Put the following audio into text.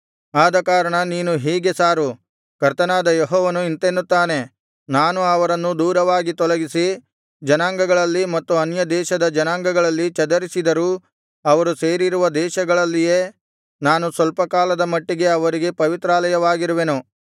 ಆದಕಾರಣ ನೀನು ಹೀಗೆ ಸಾರು ಕರ್ತನಾದ ಯೆಹೋವನು ಇಂತೆನ್ನುತ್ತಾನೆ ನಾನು ಅವರನ್ನು ದೂರವಾಗಿ ತೊಲಗಿಸಿ ಜನಾಂಗಗಳಲ್ಲಿ ಮತ್ತು ಅನ್ಯದೇಶದ ಜನಾಂಗಗಳಲ್ಲಿ ಚದರಿಸಿದರೂ ಅವರು ಸೇರಿರುವ ದೇಶಗಳಲ್ಲಿಯೇ ನಾನು ಸ್ವಲ್ಪ ಕಾಲದ ಮಟ್ಟಿಗೆ ಅವರಿಗೆ ಪವಿತ್ರಾಲಯವಾಗಿರುವೆನು